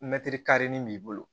Mɛtiri karinni b'i bolo